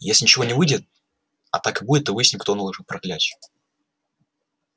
если ничего не выйдет а так и будет то выясним кто наложил проклятие